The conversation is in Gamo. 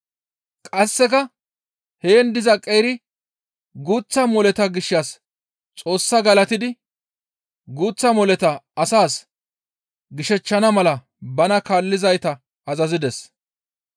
Qasseka heen diza qeeri guuththa moleta gishshas Xoossaa galatidi guuththa moleta asaas gishechchana mala bana kaallizayta azazides.